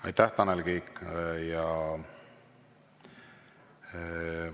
Aitäh, Tanel Kiik!